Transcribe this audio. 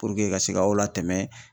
Puruke ka se k'aw latɛmɛ